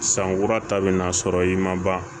San kura ta bɛna sɔrɔ i ma ban